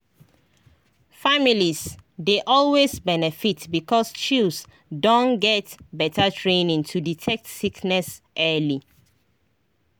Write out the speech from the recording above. families dey always benefit because chws don get better training to detect sickness early.